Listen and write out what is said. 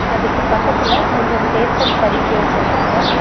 அதுக்கு பக்கத்துல கொஞ்சம் பேப்பர்ஸ் அடுக்கி வெச்சுருக்காங்க.